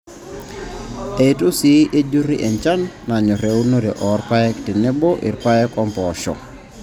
Eitu sii ejurri enchan nanyorr eunore oo rpayek tenebo irpaek oompoosho I tenebo rpayek wenkaeabila oompoosho.